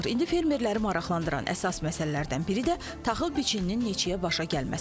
İndi fermerləri maraqlandıran əsas məsələlərdən biri də taxıl biçininin neçəyə başa gəlməsidir.